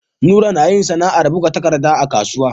Nura nayin sAna'ar buga takadda a kasuwa